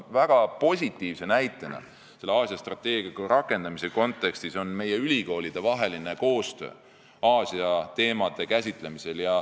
Väga positiivne näide Aasia strateegia rakendamise kontekstis on meie ülikoolide koostöö Aasia teemade käsitlemisel.